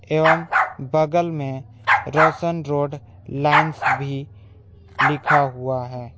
एवं बगल में रोशन रोड लाइंस भी लिखा हुआ है।